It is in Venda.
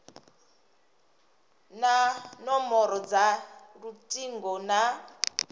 na nomboro dza lutingo na